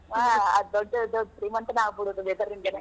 ಆ ಆದ್ ದೊಡ್ಡ್ ಧೀಮಂತನ್ ಆಗಿ ಬಿಡುದ್ .